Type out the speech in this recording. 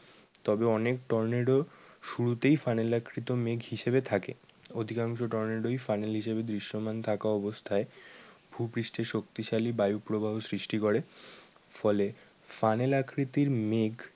তবে অনেক টর্নেডো শুরুতেই ফানেল আকৃত মেঘ হিসাবে থাকে। অধিকাংশ টর্নেডোই ফানেল হিসাবে দৃশ্যমান থাকা অবস্থায় ভুপৃষ্ঠে শক্তিশালী বায়ু প্রবাহ সৃষ্টি করে। ফলে ফানেল আকৃতির মেঘ